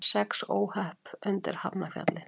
Sex óhöpp undir Hafnarfjalli